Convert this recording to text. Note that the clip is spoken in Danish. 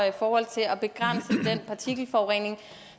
i forhold til at begrænse den partikelforurening